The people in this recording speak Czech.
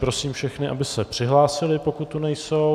Prosím všechny, aby se přihlásili, pokud tu nejsou.